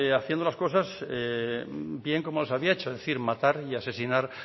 haciendo las cosas bien como las había hecho es decir matar y asesinar